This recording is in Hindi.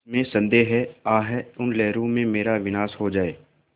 इसमें संदेह है आह उन लहरों में मेरा विनाश हो जाए